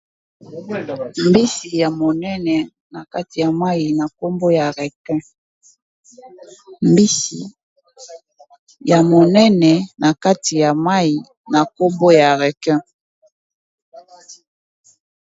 Mbisi ya monene na kati ya mayi na kombo ya requin.